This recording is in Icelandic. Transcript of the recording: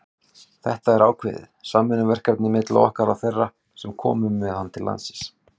Þetta er ákveðið samvinnuverkefni milli okkar og þeirra sem komu með hann til landsins.